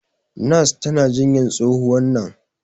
nurse tana jinyan tsohuwan nan